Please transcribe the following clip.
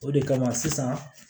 O de kama sisan